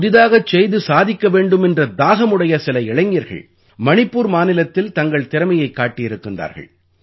புதியதாகச் செய்து சாதிக்க வேண்டுமென்ற தாகம் உடைய சில இளைஞர்கள் மணிப்பூர் மாநிலத்தில் தங்கள் திறமையைக் காட்டியிருக்கிறார்கள்